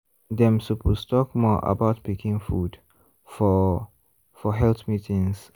dem suppose talk more about pikin food for for health meetings.